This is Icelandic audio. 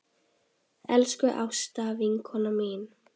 Elsku Ásta vinkona mín.